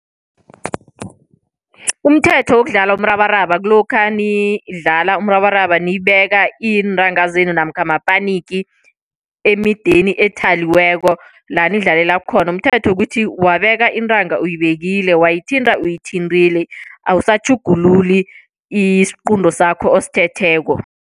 Umthetho wokudlala umrabaraba kulokha nidlala umrabaraba nibeka iintanga zenu namkha mapaniki emideni ethaliweko la nidlalela khona. Umthetho ukuthi wabeka iintanga uyibekile, wayithinta uyithinta awusatjhugululi isiqunto sakho osithetheko.